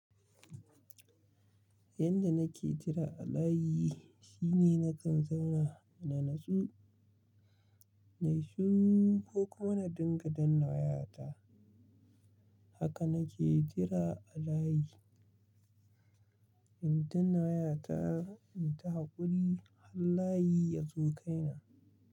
Yanda nake jira a layi shine nakan zauna na natsu, na yi shiru ko kuma na dinga danna wayata. Haka nake jira a layi, in dinna wayata in ta haƙuri har layi ya zo kaina.